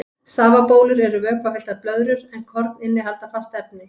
Safabólur eru vökvafylltar blöðrur en korn innihalda fast efni.